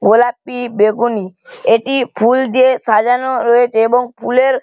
গোলাপি বেগুনি এটি ফুল দিয়ে সাজানো রয়েছে এবং ফুলের--